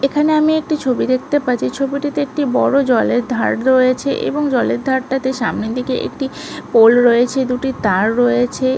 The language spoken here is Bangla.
এইখানে আমি একটি ছবি দেখতে পাচ্ছি ছবিটিতে একটি বড় জলের ধার রয়েছে এবং জলের ধারটাতে সামনের দিকটাতে একটি পোল রয়েছে দুটি তাঁর রয়েছে।